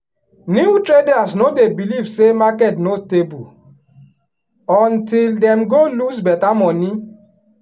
new traders no dey believe say market no stable untill dem go lose better money.